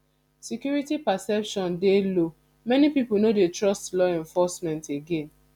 security perception dey low many pipo no dey trust law enforcement again